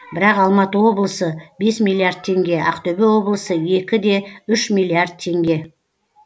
бірақ алматы облысы бес миллиард теңге ақтөбе облысы екі де үш миллиард теңге